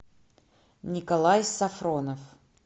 николай сафронов